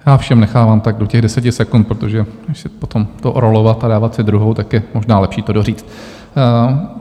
Já všem nechávám tak do těch deseti sekund, protože než potom to rolovat a dávat si druhou, tak je možná lepší to doříct.